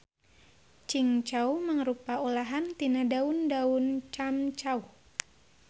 Cingcau mangrupa olahan tina daun daun camcauh.